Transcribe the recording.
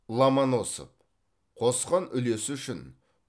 ломоносов қосқан үлесі үшін